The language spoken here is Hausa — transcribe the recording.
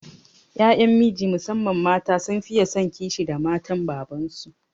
Ƴan miji musamman mata sun fiye son kishi da matan baban su